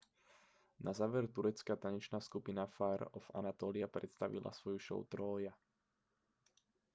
na záver turecká tanečná skupina fire of anatolia predstavila svoju show trója